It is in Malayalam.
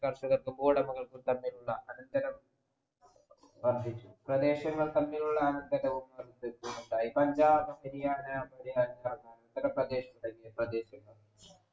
കർഷകർക്കും ഉടമകൾക്കും തമ്മിലുള്ള അനന്തരം വർധിച്ചു പ്രദേശങ്ങൾ തമ്മിലുള്ള അനന്തരങ്ങളും ഉണ്ടായി പഞ്ചാബ് ഹരിയാന ഉത്തർപ്രദേശ എന്നീ പ്രദേശങ്ങളും